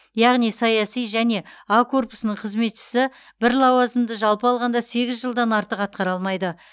яғни саяси және а корпусының қызметшісі бір лауазымды жалпы алғанда сегіз жылдан артық атқара алмайды